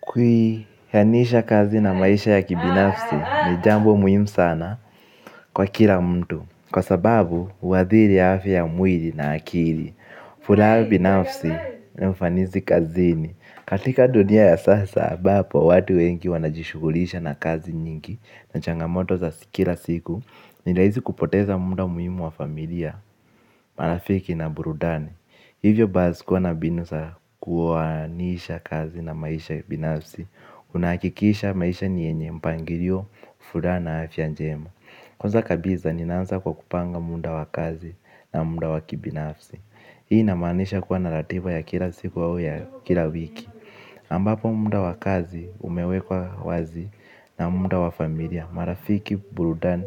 Kwihanisha kazi na maisha ya kibinafsi ni jambo muhimu sana kwa kila mtu. Kwa sababu, huadhiri afya ya mwili na akili. Furaha binafsi na ufanisi kazini. Katika dunia ya sasa, ambapo watu wengi wanajishugulisha na kazi nyingi na changamoto za kila siku, nirahisi kupoteza muda muhimu wa familia, marafiki na burudani. Hivyo basi kuwa na mbinu sawa kuwoanisha kazi na maisha ya binafsi. Unahakikisha maisha ni yenye mpangilio, furaha na, afya njema. Kwanza kabisa, ninaanza kwa kupanga muda wa kazi na muda wa kibinafsi. Hii inamaanisha kuwa na ratiba ya kila siku au ya kila wiki ambapo muda wa kazi umewekwa wazi na muda wa familia marafiki, burudani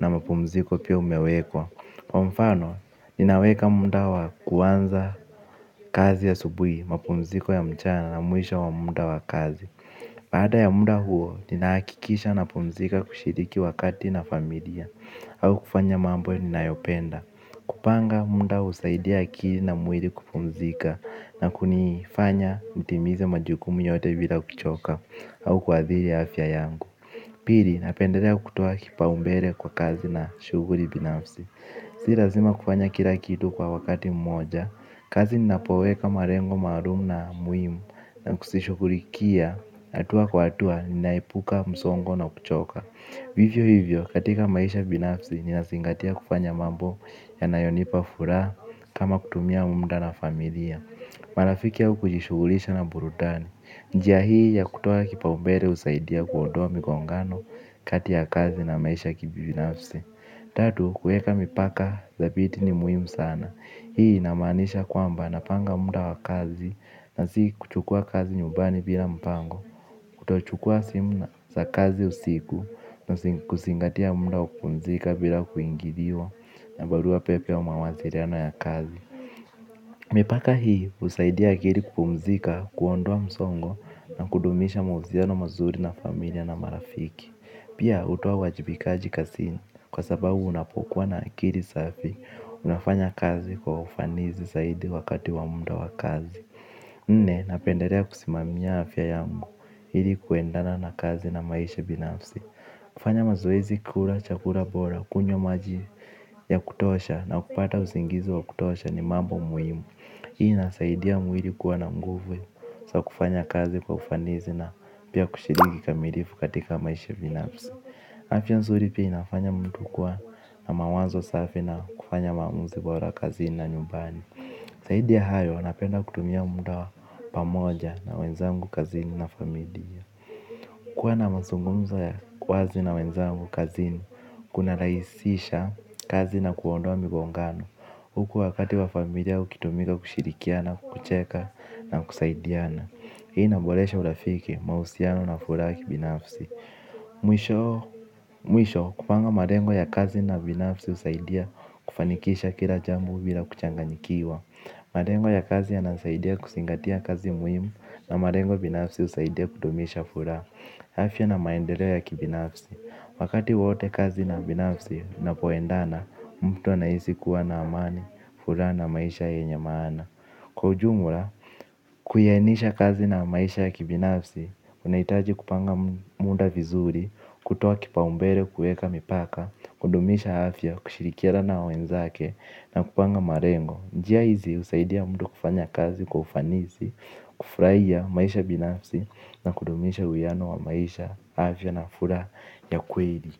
na mapumziko pia umewekwa. Kwa mfano, ninaweka muda wa kuanza kazi asubuhi, mapumziko ya mchana na mwisho wa muda wa kazi baada ya muda huo, ninahakikisha napumzika kushiriki wakati na familia au kufanya mambo ninayopenda. Kupanga, muda husaidia akili na mwili kupumzika. Na kunifanya, nitimize majukumu yote bila kuchoka au kuadhiri afya yangu. Pili, napendelea kutoa kipaumbele kwa kazi na shuguli binafsi. Si lazima kufanya kila kitu kwa wakati mmoja, kazi ninapoweka malengo maalum na muhimu na kuzishugulikia, hatua kwa hatua, ninaepuka, msongo na kuchoka. Vivyo hivyo, katika maisha binafsi, ninazingatia kufanya mambo yanayonipa furaha kama kutumia muda na familia marafiki au kujishugulisha na burudani, njia hii ya kutoa kipaumbele husaidia kuondoa migongano kati ya kazi na maisha ya kibinafsi. Tatu kuweka mipaka thabiti ni muhimu sana. Hii inamaanisha kwamba napanga muda wa kazi na si kuchukua kazi nyumbani bila mpango. Kutochukua simu za kazi usiku kuzingatia muda wa kupumzika bila kuingiliwa na barua pepe au mawasiliano ya kazi. Mipaka hii husaidia akili kupumzika kuondoa msongo na kudumisha mahusiano mazuri na familia na marafiki. Pia hutoa uwajibikaji kazini. Kwa sababu unapokuwa na akili safi, unafanya kazi kwa ufanisi zaidi wakati wa muda wa kazi. Nne, napendelea kusimamia afya yangu, ili kuendana na kazi na maisha binafsi. Kufanya mazoezi kula, chakula bora, kunywa maji ya kutosha na kupata usingizi wa kutosha ni mambo muhimu. Hii inasaidia mwili kuwa na nguvu, za kufanya kazi kwa ufanisi na pia kushiriki kikamilifu katika maisha binafsi. Afya nzuri pia inafanya mtu kwa na mawazo safi na kufanya maamuzi bora kazini na nyumbani zaidi ya hayo napenda kutumia muda pamoja na wenzangu kazini na familia. Kuwa na mazungumzo ya wazi na wenzangu kazini, kuna rahisisha kazi na kuondoa migongano huku wakati wa familia ukitumika kushirikiana, kucheka na kusaidiana. Hii inaboresha urafiki, mahusiano na furaha kibinafsi. Mwisho kupanga malengo ya kazi na binafsi husaidia kufanikisha kila jambo bila kuchanganyikiwa. Malengo ya kazi yanasaidia kuzingatia kazi muhimu na malengo binafsi husaidia kudumisha furaha afya na maendeleo ya kibinafsi. Wakati wowote kazi na binafsi napoendana mtu anahisi kuwa na amani furaha na maisha yenye maana. Kwa ujumla, kuyainisha kazi na maisha ya kibinafsi, unahitaji kupanga muda vizuri, kutoa kipaumbele kuweka mipaka, kudumisha afya, kushirikiana na wenzake na kupanga malengo. Njia hizi husaidia mtu kufanya kazi kwa ufanisi, kufurahia maisha binafsi na kudumisha uiano wa maisha, afya na furaha ya kweli.